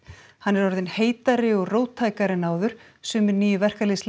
hann er orðinn heitari og róttækari en áður sumir nýju